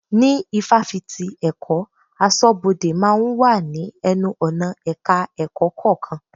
Ní Ifáfìti èkó, aṣọ́bodè máa ń wà ní ẹnu-ọ̀nà Ẹ̀ka-ẹ̀kọ́ kọ̀ọ̀kan.